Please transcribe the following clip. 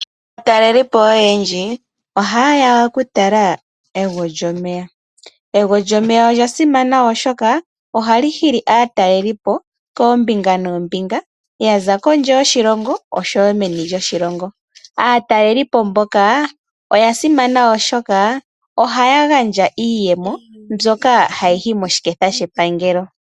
Aatalelipo oyendji ohaye ya okutala egwo lyomeya. Egwo lyomeya olya simana, oshoka li hili aatalelipo koombinga noombinga. Ya za meni lyoshilongo noshowo meni lyoshilongo. Aatalelipo mboka oya simana, oshoka ohaya gandja iiyemo mbyoka hayi yi moshiketha shepangelo.